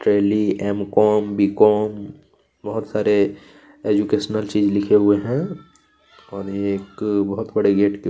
jelly M com B com बहुत सारे educational चीज लिखे हुए है और ये एक बहुत बड़े गेट के--